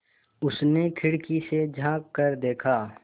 उसने खिड़की से झाँक कर देखा